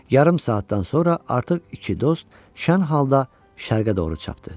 Yarım saatdan sonra artıq iki dost şən halda şərqə doğru çapdı.